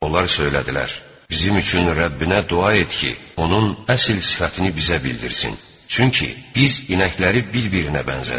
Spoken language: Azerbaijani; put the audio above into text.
Onlar söylədilər: "Bizim üçün Rəbbinə dua et ki, onun əsl sifətini bizə bildirsin, çünki biz inəkləri bir-birinə bənzədirik."